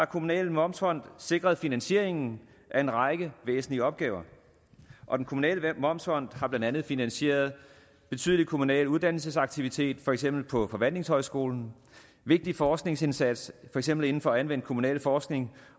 kommunale momsfond sikret finansieringen af en række væsentlige opgaver og den kommunale momsfond har blandt andet finansieret betydelig kommunal uddannelsesaktivitet for eksempel på forvaltningshøjskole vigtig forskningsindsats for eksempel inden for anvendt kommunalforskning